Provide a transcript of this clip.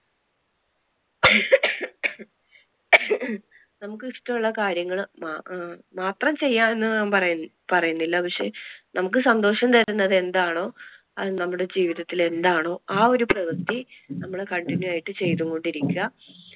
നമുക്ക് ഇഷ്ടം ഉള്ള കാര്യങ്ങള് ആഹ് മാത്രം ചെയ്യുക എന്ന് ഞാൻ പറ~ പറയുന്നില്ല, പക്ഷെ നമുക്ക് സന്തോഷം തരുന്നത് എന്താണോ അത് നമ്മുടെ ജീവിതത്തിൽ എന്താണോ ആ ഒരു പ്രവർത്തി നമ്മള് continue ആയിട്ട് ചെയ്തുകൊണ്ട് ഇരിക്ക.